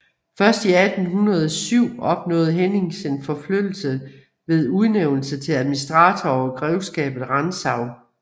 Først i 1807 opnåede Hennings en forflyttelse ved udnævnelsen til administrator over grevskabet Rantzau